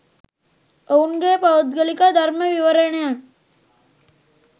ඔවුන්ගේ පෞද්ගලික ධර්ම විවරණයන්